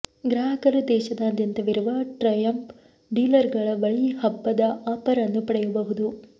ಗ್ರಾಹಕರು ದೇಶಾದ್ಯಂತವಿರುವ ಟ್ರಯಂಫ್ ಡೀಲರ್ಗಳ ಬಳಿ ಹಬ್ಬದ ಆಫರ್ ಅನ್ನು ಪಡೆಯಬಹುದು